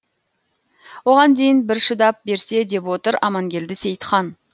оған дейін бір шыдап берсе деп отыр амангелді сеи ітхан